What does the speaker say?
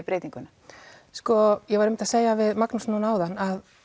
breytinguna sko ég var einmitt að segja það við Magnús hérna áðan